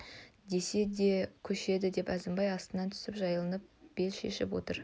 десе өзі де көшеді деп әзімбай атынан түсіп жайланып бел шешіп отыр